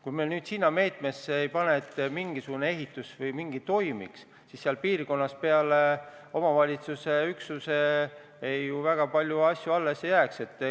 Kui me sellesse ei panusta, et mingisugune ehitus või midagi muud toimuks, siis seal piirkonnas peale omavalitsusüksuse ju väga palju asju alles ei jääkski.